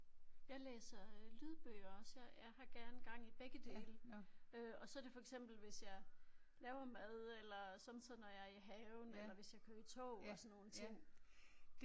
Jeg læser lydbøger også jeg jeg har gerne gang i begge dele øh og så er det for eksempel hvis jeg laver mad eller sommetider når jeg er i haven eller hvis jeg kører i tog og sådan nogle ting